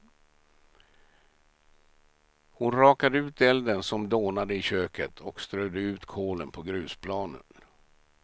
Hon rakade ut elden som dånade i köket, och strödde ut kolen på grusplanen.